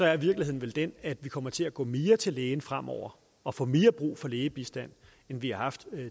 er virkeligheden vel den at vi kommer til at gå mere til lægen fremover og får mere brug for lægebistand end vi har haft